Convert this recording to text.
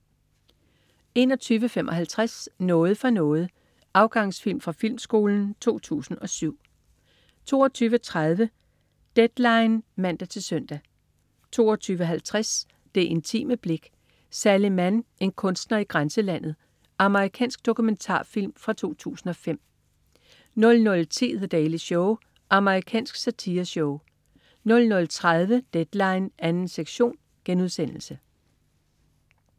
21.55 Noget for noget. Afgangsfilm fra Filmskolen 2007 22.30 Deadline (man-søn) 22.50 Det intime blik: Sally Mann, en kunstner i grænselandet. Amerikansk dokumentarfilm fra 2005 00.10 The Daily Show. Amerikansk satireshow 00.30 Deadline 2. sektion*